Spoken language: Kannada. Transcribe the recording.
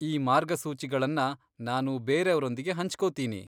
ಈ ಮಾರ್ಗಸೂಚಿಗಳನ್ನ ನಾನು ಬೇರೆಯವ್ರೊಂದಿಗೆ ಹಂಚ್ಕೊತೀನಿ.